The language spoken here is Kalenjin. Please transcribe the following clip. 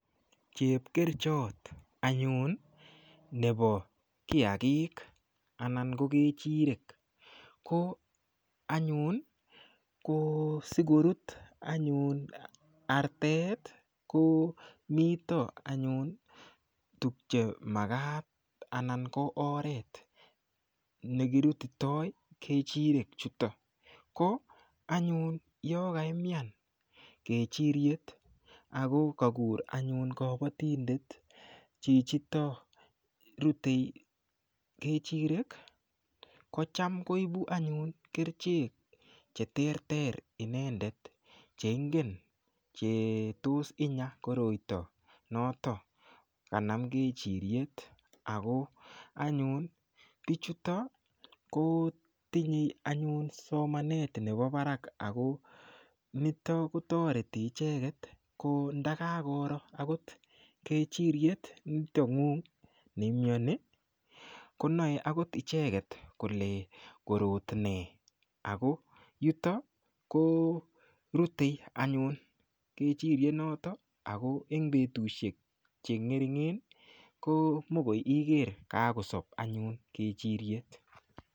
Chepkerichot anyun nebo kiyakik anan ko kechirek ko anyun ko sikorut anyun artet ko mito anyun tukche makat anan ko oret nekirutitoi kechirek chutok ko anyun yo kaimyan kechiriet ako kakur anyun kabatindet chichito rutei kechirek ko cham koibu anyun kerichek cheterter inendet cheingen chetos inya koroito notok kanam kechiriet ako anyun bichuton ko tinyei anyun somanet nebo barak ako nito kotoreti icheget ko ndakakoro akot kechiriet nito ng'ung' neimyoni konoei akot icheget kole korot nee ako yuto korutei anyun kechiriet noto ako eng' betushek cheng'ering'en ko mikoi iger kakosob anyun kechiriet